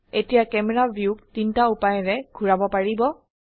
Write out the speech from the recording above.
এতিয়া ক্যামেৰা ভিউক তিনটা উপায়েৰে ঘোৰাব পাৰিব